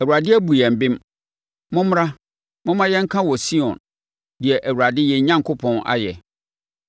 “‘ Awurade abu yɛn bem. Mommra, momma yɛnka wɔ Sion, deɛ Awurade yɛn Onyankopɔn ayɛ.’